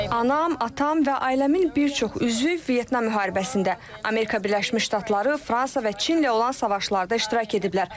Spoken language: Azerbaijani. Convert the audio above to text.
Anam, atam və ailəmin bir çox üzvü Vyetnam müharibəsində, Amerika Birləşmiş Ştatları, Fransa və Çinlə olan savaşlarda iştirak ediblər.